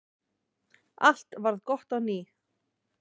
Allt varð gott á ný.